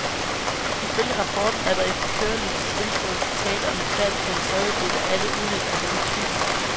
Ifølge rapporten er der efter kørelysets indførelse tale om et fald på en tredjedel af alle uheld af denne type.